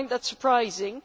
I find that surprising.